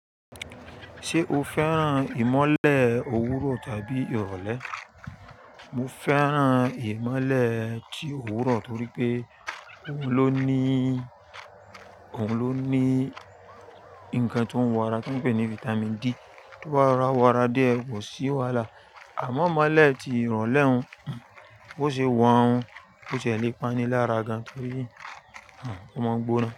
Ṣé o fẹ́ràn ìmọ́lẹ̀ òwúrọ̀ tàbí ìrọ̀lẹ́? Mo fẹ́ràn ìmọ́lẹ̀ ti òwúrọ̀ torí pé òun ló ní, òun ló ní ǹkan tó ń wo ara tó ń pè ní Vitamin D, tó bá rorawọ ara díẹ̀ kò sí wàhálà. Àmọ́ ìmọ́lẹ̀ ti ìrọ̀lẹ́ hun, bó ṣe wọ̀ hun, ó ti le pani lára gan torí ó máa ń gbóna.